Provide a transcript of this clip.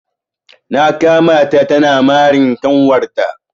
Na kama ta tana marin kanwar ta.